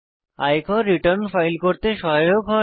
আয়কর return file করতে সহায়ক হয়